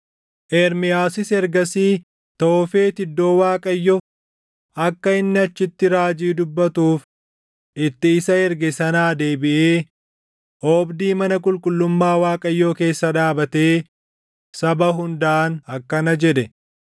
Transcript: Ermiyaasis ergasii Toofet iddoo Waaqayyo akka inni achitti raajii dubbatuuf itti isa erge sanaa deebiʼee oobdii mana qulqullummaa Waaqayyoo keessa dhaabatee saba hundaan akkana jedhe;